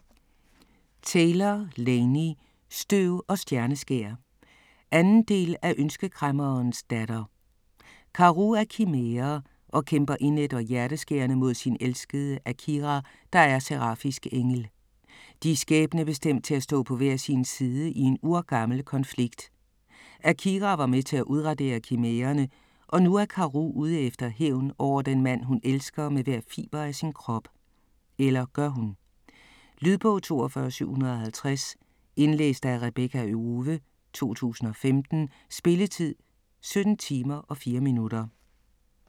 Taylor, Laini: Støv og stjerneskær 2. del af Ønskekræmmerens datter. Karou er kimære og kæmper indædt og hjerteskærende mod sin elskede Akira, der er serafisk engel. De er skæbnebestemt til at stå på hver sin side i en urgammel konflikt. Akira var med til at udradere kimærerne, og nu er Karou ude efter hævn over den mand, hun elsker med hver fiber af sin krop - eller gør hun? Lydbog 42750 Indlæst af Rebekka Owe, 2015. Spilletid: 17 timer, 4 minutter.